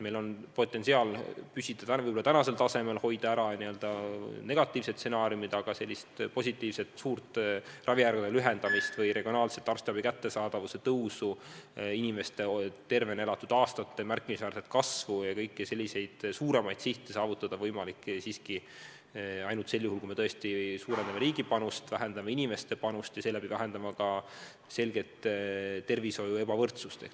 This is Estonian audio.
Meil on potentsiaal püsida võib-olla tänasel tasemel, hoida ära n-ö negatiivsed stsenaariumid, aga suurt ravijärjekordade lühenemist või regionaalset arstiabi kättesaadavuse tõusu, inimeste tervena elatud aastate märkimisväärset kasvu ja kõiki muid suuremaid sihte saavutada on võimalik ainult sel juhul, kui me tõesti suurendame riigi panust, vähendame inimeste panust ja seeläbi vähendame ka selgelt arstiabi ebavõrdsust.